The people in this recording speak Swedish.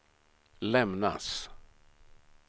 lämnas